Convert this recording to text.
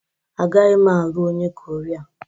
Agaghị m alụ onye Koria